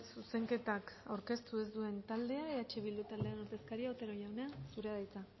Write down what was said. zuzenketak aurkeztu ez duen taldea eh bildu taldearen ordezkaria otero jauna zurea da hitza